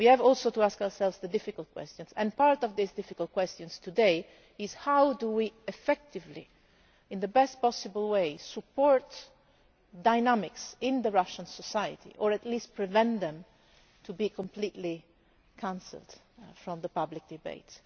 We also have to ask ourselves the difficult questions and one of these difficult questions today is how do we effectively, in the best possible way, support dynamics in Russian society, or at least prevent them from being completely removed from public debate?